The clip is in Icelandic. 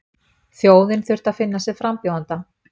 Þjóðin þurfti að finna sér frambjóðanda